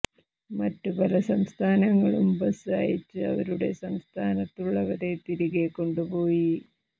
മറ്റ് പല സംസ്ഥാനങ്ങളും ബസ് അയച്ച് അവരുടെ സംസ്ഥാനത്തുള്ളവരെ തിരികെ കൊണ്ടുപോയി